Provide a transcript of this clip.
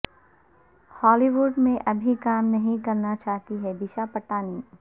ہالی وڈ میں ابھی کام نہیں کرنا چاہتی ہیں دشا پٹانی